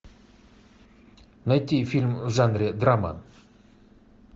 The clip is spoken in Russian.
найти фильм в жанре драма